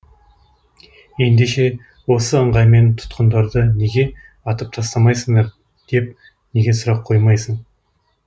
ендеше осы ыңғаймен тұтқындарды неге атып тастамайсыңдар деп неге сұрақ қоймайсың